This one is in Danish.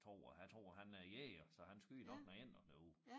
Tror jeg jeg tror han er jæger så han skyder nok nogle ænder derude